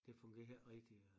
Det fungerer ikke rigtig øh